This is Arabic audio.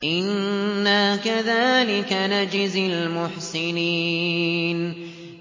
إِنَّا كَذَٰلِكَ نَجْزِي الْمُحْسِنِينَ